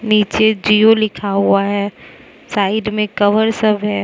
नीचे जियो लिखा हुवा है साइड में कव्हर सब है।